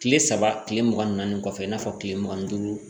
Kile saba kile mugan ni naani kɔfɛ i n'a fɔ kile mugan ni duuru